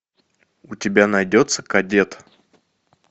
у тебя найдется кадет